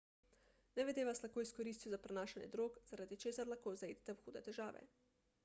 nevede vas lahko izkoristijo za prenašanje drog zaradi česar lahko zaidete v hude težave